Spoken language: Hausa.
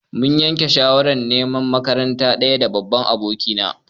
Mun yanke shawarar neman makaranta ɗaya da babban abokina.